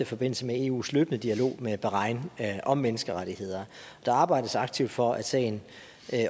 forbindelse med eus løbende dialog med bahrain om menneskerettigheder der arbejdes aktivt for at sagen